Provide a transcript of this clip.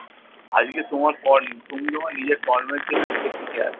আজকে তোমার তুমি তোমার নিজের কর্মের জন্য আজকে টিকে আছো।